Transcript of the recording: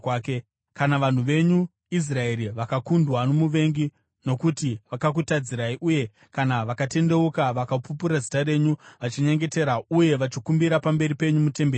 “Kana vanhu venyu Israeri vakakundwa nomuvengi nokuti vakakutadzirai uye kana vakatendeuka vakapupura zita renyu, vachinyengetera uye vachikumbira pamberi penyu mutemberi muno,